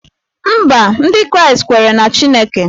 Mba, Ndị Kraịst kweere na Chineke